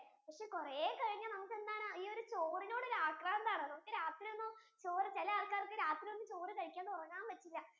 കൊറേ കഴിഞ്ഞു നമുക്ക് എന്താണ് ഈയൊരു ചോറിനോട് ഒരു ആക്രാന്തം ആണ് നമുക്ക് രാത്രി ഒന്നും ചോറ് ചിലി ആൾക്കാർക്ക് രാത്രി ഒന്നും ചോറ് കഴിക്കണ്ട ഉറങ്ങാൻ പറ്റില്ല